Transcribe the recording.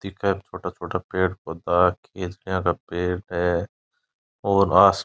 देखे छोटा-छोटा पेड़ पोधा है इस यहा का पेड़ है और आस --